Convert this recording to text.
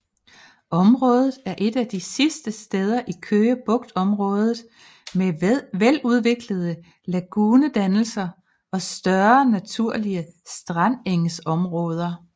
Området er et af de sidste steder i Køge Bugtområdet med veludviklede lagunedannelser og større naturlige strandengsområder